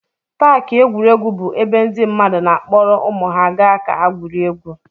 Paakị egwuregwu bụ ebe ndị mmadụ na-akpọrọ ụmụ ha ga ka ha gwurie egwu.